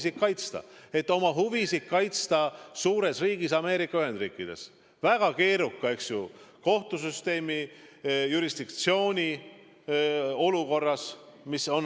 Sellepärast, et oma huvisid kaitsta suures riigis Ameerika Ühendriikides, väga keeruka kohtusüsteemi, jurisdiktsiooniga riigis.